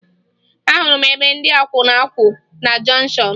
Ahụrụ m ebe ndị akwụna kwụ na jọnshọn